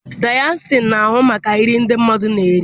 Dayịetishan na-ahụ maka nri ndị mmadụ na-eri.